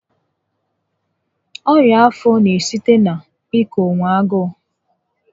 Ọnya afọ n'esite na ị ka onwe agụụ